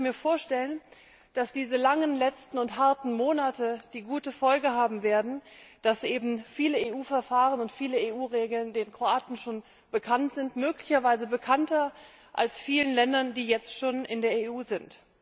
Und ich könnte mir vorstellen, dass diese langen letzten und harten Monate die gute Folge haben werden, dass eben viele EU Verfahren und viele EU Regeln den Kroaten schon bekannt sind, möglicherweise bekannter als vielen Ländern, die jetzt schon in der EU sind.